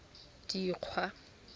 dikgwa